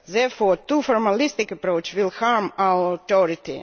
Therefore too formalistic an approach will harm our authority.